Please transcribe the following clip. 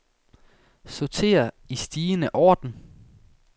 Sorter i stigende orden.